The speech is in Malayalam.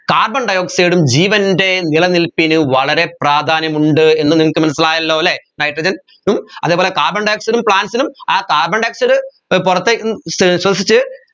carbondioxide ഉം ജീവൻെറ നിലനിൽപ്പിന് വളരെ പ്രാധാന്യമുണ്ട് എന്ന് നിങ്ങക്ക് മനസ്സിലായല്ലോ അല്ലെ nitrogen ഉം അതെപോലെ carbon dioxide ഉം plants നും ആ carbon dioxide ഏർ പുറത്തേക്കും ശ്വ ശ്വസിച്ച്